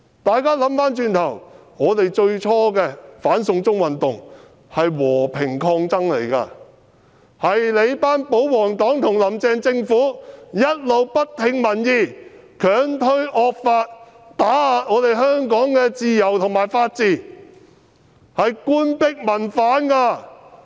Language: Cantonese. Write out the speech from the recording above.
大家回想一下，在最初的"反送中"運動中，我們是和平抗爭的，完全是你們這群保皇黨和"林鄭"政府一直不聽民意、強推惡法、打壓香港自由和法治，這是官逼民反！